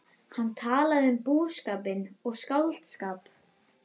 Hann talaði um búskapinn og skáldskap